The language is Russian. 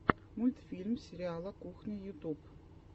мультфильм сериала кухня ютуб